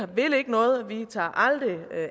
vi vil ikke noget vi tager aldrig